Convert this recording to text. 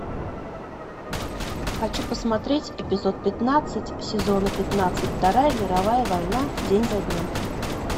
хочу посмотреть эпизод пятнадцать сезона пятнадцать вторая мировая война день за днем